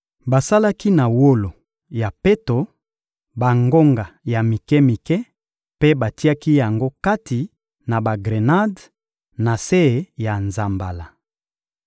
Basalaki na wolo ya peto bangonga ya mike-mike mpe batiaki yango kati na bagrenade, na se ya nzambala.